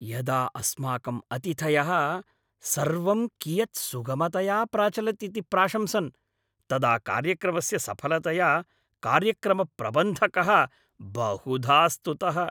यदा अस्माकं अतिथयः सर्वं कियत् सुगमतया प्राचलत् इति प्राशंसन् तदा कार्यक्रमस्य सफलतया कार्यक्रमप्रबन्धकः बहुधा स्तुतः।